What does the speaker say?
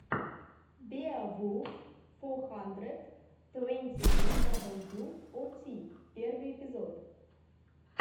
беовулф фо хандрэд твэнти ту дабл ю о ти первый эпизод